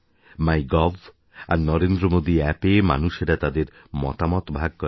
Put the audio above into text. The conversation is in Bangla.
মাই গভ আর নরেন্দ্রমোদী অ্যাপএ মানুষেরা তাদের মতামত ভাগ করে